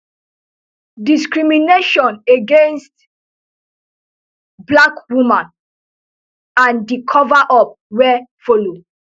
discrimination against black woman and di coverup wey follow